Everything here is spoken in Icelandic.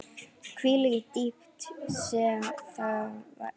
Hvílík dýpt sem það væri.